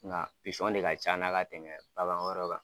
Nga pisɔn de ka can na ka tɛmɛ bagan wɛrɛ kan.